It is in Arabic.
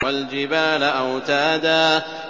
وَالْجِبَالَ أَوْتَادًا